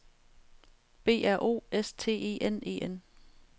B R O S T E N E N